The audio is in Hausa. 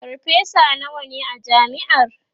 farfesa nawa ne a jami'ar?